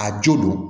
A jo don